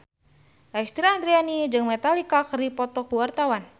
Lesti Andryani jeung Metallica keur dipoto ku wartawan